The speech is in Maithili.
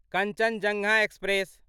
कञ्चनजङ्गा एक्सप्रेस